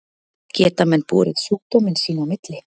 Geta menn borið sjúkdóminn sín á milli?